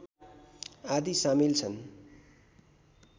आदि सामिल छन्